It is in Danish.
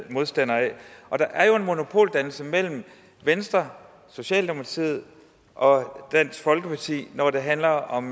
modstander af der er jo en monopoldannelse mellem venstre socialdemokratiet og dansk folkeparti når det handler om